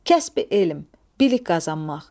Kəsb-i elm, bilik qazanmaq.